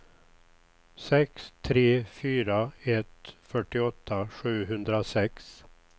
sex tre fyra ett fyrtioåtta sjuhundrasex